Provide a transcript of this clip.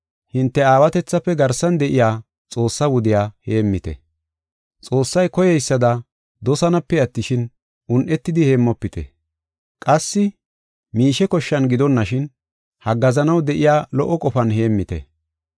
Hinte aawatethafe garsan de7iya Xoossaa wudiya heemmite. Xoossay koyeysada dosanaape attishin, un7etidi heemmofite. Qassi miishe koshshan gidonashin, haggaazanaw de7iya lo77o qofan heemmite.